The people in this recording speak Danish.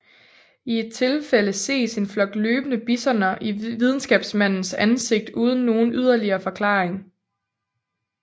I et tilfælde ses en flok løbende bisoner i videnskabsmandens ansigt uden nogen yderligere forklaring